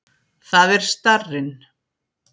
Það er starrinn.